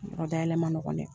Yɔrɔ dayɛlɛ man nɔgɔn dɛ.